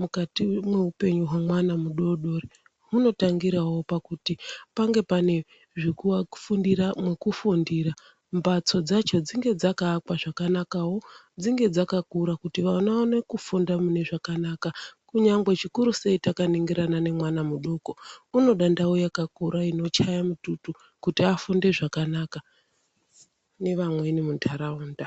mukati mweupenyu hwemwana mudodori hunotangirawo pakuti pange pane zvekuvafundira nekufundira mbatso dzacho dzinge dzakaakwawo zvakanakawo dzinge dzakakura kuti vana vaone kufunda mune zvakanaka kunyangwe zvikurusei takaningirana nhemwana mudoko unode ndau yakakura inochaye mututu kuti afunde zvakanaka nevamweni muntaraunda.